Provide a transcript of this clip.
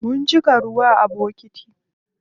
Mun cika ruwa a bokiti.